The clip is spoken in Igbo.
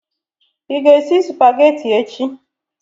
ị ga-esi Supagetii echi?